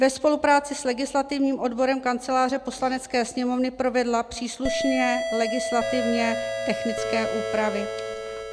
ve spolupráci s legislativním odborem Kanceláře Poslanecké sněmovny provedla příslušné legislativně technické úpravy.